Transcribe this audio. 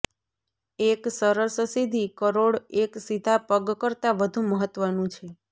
એક સરસ સીધી કરોડ એક સીધા પગ કરતાં વધુ મહત્વનું છે